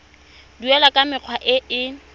duelwa ka mekgwa e e